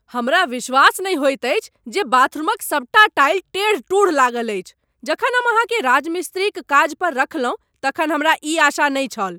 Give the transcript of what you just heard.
हमरा विश्वास नहि होइत अछि जे बाथरूमक सबटा टाइल टेढ़ टूढ़ लागल अछि। जखन हम अहाँकेँ राजमिस्त्रीक काज पर रखलहुँ तखन हमरा ई आशा नहि छल।